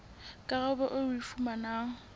karabo eo o e fumanang